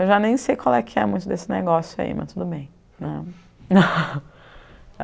Eu já nem sei qual é que é muito desse negócio aí, mas tudo bem né.